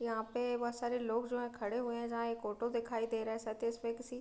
यहां पे बहोत सारे लोग जो हैं खड़े हुए हैं जहा एक ऑटो दिखाई दे रहा है --